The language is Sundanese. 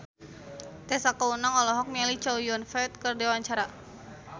Tessa Kaunang olohok ningali Chow Yun Fat keur diwawancara